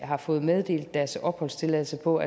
har fået meddelt deres opholdstilladelse på